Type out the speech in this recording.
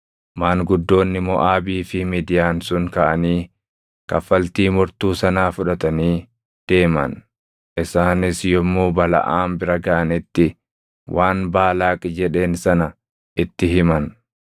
Maanguddoonni Moʼaabii fi Midiyaan sun kaʼanii kaffaltii mortuu sanaa fudhatanii deeman. Isaanis yommuu Balaʼaam bira gaʼanitti waan Baalaaq jedheen sana itti himan.